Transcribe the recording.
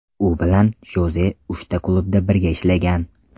U bilan Joze uchta klubda birga ishlagan.